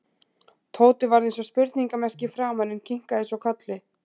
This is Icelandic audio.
Tóti varð eins og spurningarmerki í framan en kinkaði svo kolli.